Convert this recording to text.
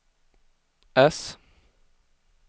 S